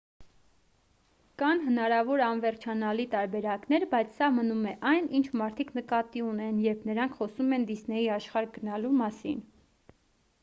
կան հնարավոր անվերջանալի տարբերակներ բայց սա մնում է այն ինչ մարդիկ նկատի ունեն երբ նրանք խոսում են դիսնեյի աշխարհ գնալու մասին